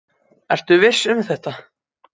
Ertu viss um þetta?